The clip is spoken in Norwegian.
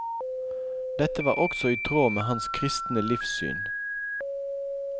Dette var også i tråd med hans kristne livssyn.